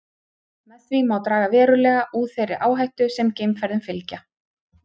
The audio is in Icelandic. Með því má draga verulega úr þeirri áhættu sem geimferðum fylgja.